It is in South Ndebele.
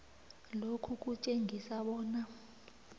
lokhu kutjengisa bona